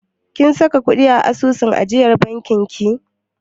Kin saka ƙuɗi a asusun ajiyar bankin ki?